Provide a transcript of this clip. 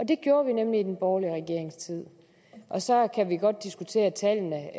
det gjorde vi nemlig i den borgerlige regerings tid så kan vi godt diskutere tallene